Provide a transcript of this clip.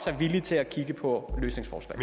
er villige til at kigge på løsningsforslag